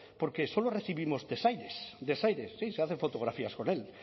porque solo recibimos desaires desaires sí se hace fotografías con él